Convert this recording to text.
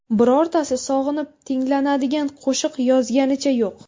Birortasi sog‘inib tinglanadigan qo‘shiq yozganicha yo‘q.